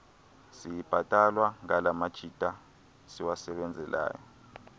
siyibhatalwa ngalamajita siwasebenzelayo